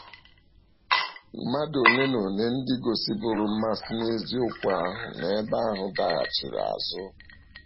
Mmàdụ ole na ole ndị gosìbụrụ mmasi n’eziokwu ahụ n’ebe ahụ daghàchìrà azụ.